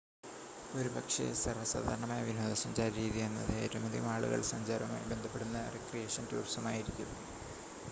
ഒരുപക്ഷേ സർവ്വസാധാരണമായ വിനോദസഞ്ചാര രീതി എന്നത് ഏറ്റവുമധികം ആളുകൾ സഞ്ചാരവുമായി ബന്ധപ്പെടുന്ന റിക്രിയേഷൻ ടൂറിസം ആയിരിക്കും